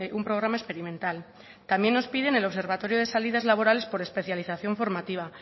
un programa experimental también nos piden el observatorio de salidas laborales por especialización formativa